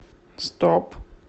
стоп